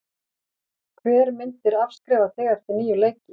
Hver myndir afskrifa þig eftir níu leiki?